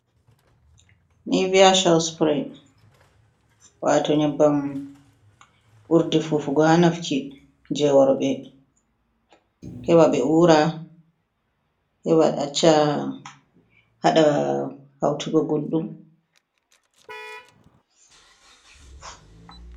Niviya coo supure, waato nyabbam urdi fufugo haa nafki, jey worɓe .Heɓa ɓe uura , haɗa hawtuga gulɗum.